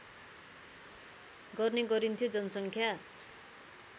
गर्ने गरिन्थ्यो जनसङ्ख्या